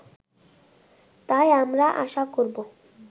তাই আমরা আশা করব